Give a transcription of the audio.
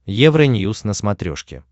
евроньюз на смотрешке